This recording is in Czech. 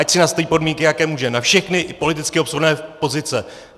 Ať si nastaví podmínky, jaké může, na všechny politicky obsluhované pozice.